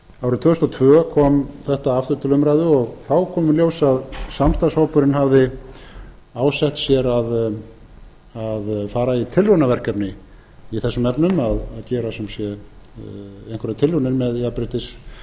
árið tvö þúsund og tvö kom þetta aftur til umræðu og þá kom í ljós að samstarfshópurinn hafði ásett sér að fara í tilraunaverkefni í þessum efnum að gera sem sé einhverjar tilraunir með